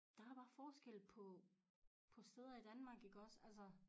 Der er bare forskel på på steder i Danmark iggås altså